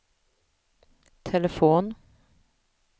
telefon